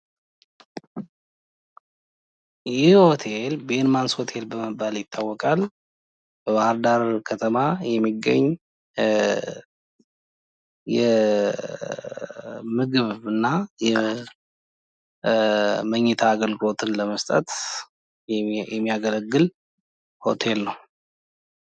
ይህ ሆቴል ቤንማንስ ሆቴል በመባል ይታወቃል። በባህር ዳር ከተማ የሚገኝ የምግብ እና የመኝታ አገልግሎትን ለመስጠት የሚያገለግል ሆቴል ነው።